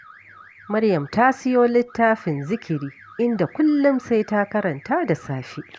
Maryam ta siyo littafin zikiri, inda kullum sai ta karanta da safe.